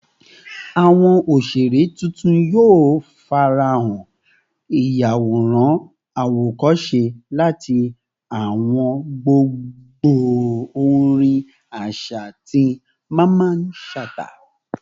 Awọn oṣere titun yoo farahan, iyaworan awokose lati awọn gbongbo orin aṣa ti Mamman Shata